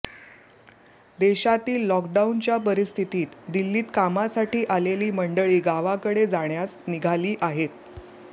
देशातील लॉकडाऊनच्या परिस्थितीत दिल्लीत कामासाठी आलेली मंडळी गावाकडे जाण्यास निघाली आहेत